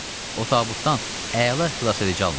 O tabutdan əla xilasedici alınacaq.